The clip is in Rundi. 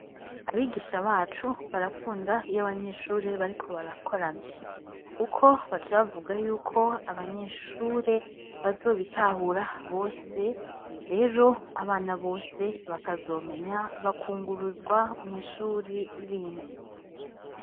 Abigisha bacu barakunda iy'abanyeshure bariko barakorana kuko baca bavuga y'uko abanyeshure bazobitahura bose rero abana bose bakazomenya bakunguruzwa mw'ishuri rindi.